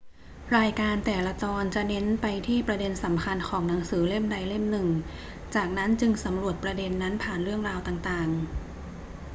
รายการแต่ละตอนจะเน้นไปที่ประเด็นสำคัญของหนังสือเล่มใดเล่มหนึ่ง จากนั้นจึงสำรวจประเด็นนั้นผ่านเรื่องราวต่าง ๆ